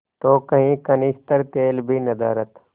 तो कई कनस्तर तेल भी नदारत